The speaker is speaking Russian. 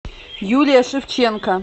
юлия шевченко